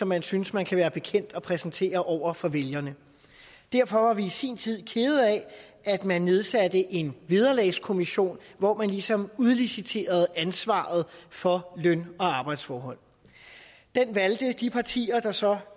man synes man kan være bekendt at præsentere over for vælgerne derfor var vi i sin tid kede af at man nedsatte en vederlagskommission hvor man ligesom udliciterede ansvaret for løn og arbejdsforhold den valgte de partier der så